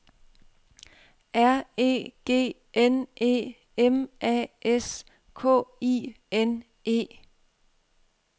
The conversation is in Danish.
R E G N E M A S K I N E